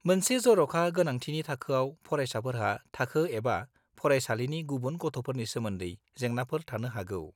मोनसे जर'खा गोनांथिनि थाखोआव फारयसाफोरहा थाखो एबा फरायसालिनि गुबुन गथ'फोरनि सोमोन्दै जेंनाफोर थानो हागौ।